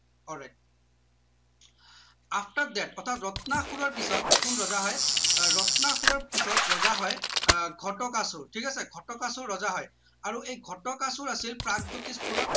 all right after that অৰ্থাৎ ৰত্নাসুৰৰ পিছত কোন ৰজা হয় আহ ৰত্নাসুৰৰ পিছত ৰজা হয় আহ ঘটকাসুৰ ঠিক আছে ঘটকাসুৰ ৰজা হয় আৰু এই ঘটকাসুৰ আছিল প্ৰাগজ্যোতিষ পুৰৰ